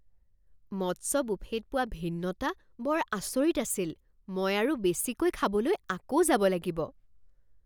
মৎস্য বুফেত পোৱা ভিন্নতা বৰ আচৰিত আছিল! মই আৰু বেছিকৈ খাবলৈ আকৌ যাব লাগিব।